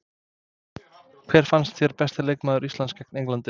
Hver fannst þér besti leikmaður Íslands gegn Englandi?